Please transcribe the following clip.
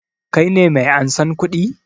Ka ne mai ansan kuɗi?